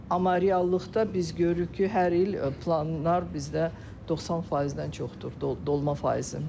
Amma reallıqda biz görürük ki, hər il planlar bizdə 90%-dən çoxdur, dolma faizi.